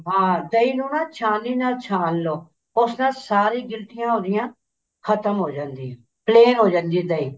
ਦਹੀਂ ਨੂੰ ਨਾ ਛਾਣਨੀ ਨਾਲ ਛਾਣ ਲੋ ਉਸ ਨਾਲ ਸਾਰੀ ਗਿਲਟੀਆਂ ਉਹਦੀਆਂ ਖਤਮ ਹੋ ਜਾਂਦੀਆਂ plain ਹੋ ਜਾਂਦੀ ਹੈ ਦਹੀਂ